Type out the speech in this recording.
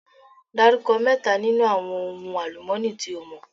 Dárúkọ mẹ́ta nínú àwọn ohun àlùmọ́ọ́nì tí o mọ̀?